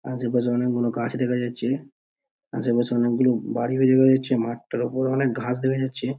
আশেপাশে অনেকগুলো গাছ দেখা যাচ্ছে। আশেপাশে অনেকগুলো বাড়ি তৈরী হয়েছে মাঠ টার ওপরে অনেক ঘাস দেখা যাচ্ছে।